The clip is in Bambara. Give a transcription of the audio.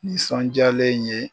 Nisɔndiyalen ye